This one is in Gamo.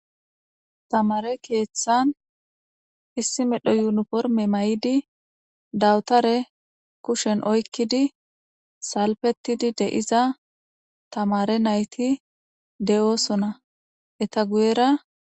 tamare keeththan issi medho yuunuporme may7idi dawutare kushen oykkidi salpetidi de7iza tamare nayti de7oosona eta guyera